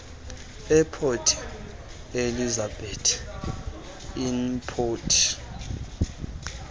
eport elizabeth airport